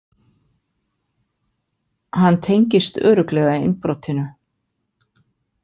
Hann tengist örugglega innbrotinu.